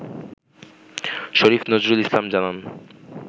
শরীফ নজরুল ইসলাম জানান